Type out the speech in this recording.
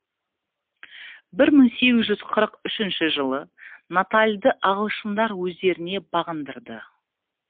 бір мың сегіз жүз қырық үшінші жылы натальды ағылшындар өздеріне бағындырды